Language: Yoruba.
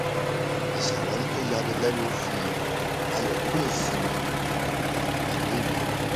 ìṣàwárí tó ya ni lẹnu fi ayọ kún ìsinmi àtìgbàdégbà